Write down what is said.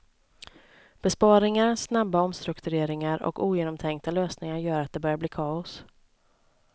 Besparingar, snabba omstruktureringar och ogenomtänkta lösningar gör att det börjar bli kaos.